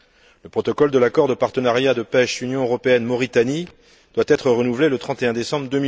Le protocole de l'accord de partenariat de pêche Union européenne Mauritanie doit être renouvelé le 31 décembre